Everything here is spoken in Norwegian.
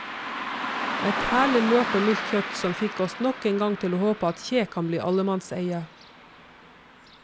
Et herlig mørt og mildt kjøtt som fikk oss nok en gang til å håpe at kje kan bli allemannseie.